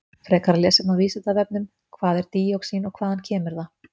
Frekara lesefni á Vísindavefnum: Hvað er díoxín og hvaðan kemur það?